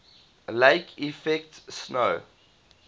lake effect snow